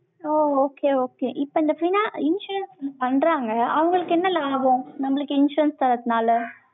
So, okay, okay இப்ப இந்த பண்றாங்க, அவங்களுக்கு என்ன லாபம்? நம்மளுக்கு insurance தர்றதுனால